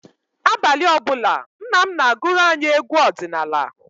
Abalị ọ bụla, nna m na-agụrụ anyị egwu ọdịnala.